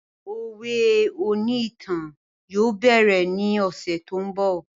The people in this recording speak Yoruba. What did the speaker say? Òwe oní ìtàn yóò bẹ̀rẹ̀ ní ọ̀sẹ̀ tó ń bọ̀